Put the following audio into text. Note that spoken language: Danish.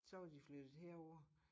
Så var de flyttet herover